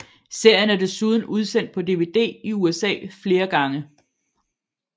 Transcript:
Serien er desuden udsendt på dvd i USA flere gange